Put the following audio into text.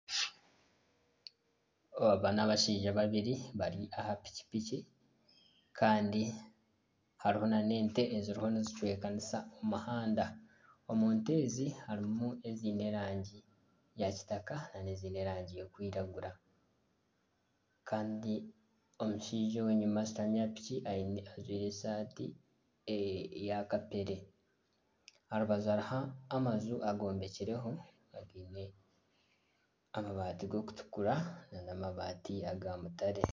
Aba nabashaija babiri bari aha piki piki , kandi hariho nana ente eziriho nizicwekanisa, omu muhanda omu nte ezi harimu eziine erangi ya kitaka nana ezindi eziine erangi erikwiragura, kandi omushaija ogu enyuma ashutamire aha piki ajwaire esaati eya kapere aha rubaju hariho amaju agombekireho againe amabaati g'okutukura nana amabaati aga mutare.